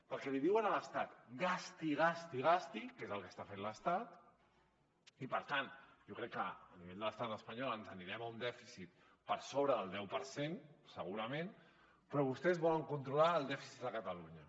perquè li diuen a l’estat gasti gasti gasti que és el que està fent l’estat i per tant jo crec que a nivell de l’estat espanyol ens anirem a un dèficit per sobre del deu per cent segurament però vostès volen controlar el dèficit de catalunya